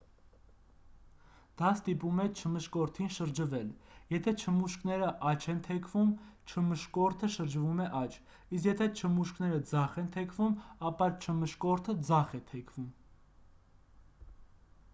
դա ստիպում է չմշկորդին շրջվել եթե չմուշկները աջ են թեքվում չմշկորդը շրջվում է աջ իսկ եթե չմուշկները ձախ են թեքվում ապա չմշկորդը ձախ է թեքվում